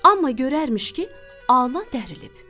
Amma görərmiş ki, alma dərlib.